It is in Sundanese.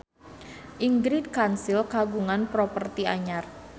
Ingrid Kansil kagungan properti anyar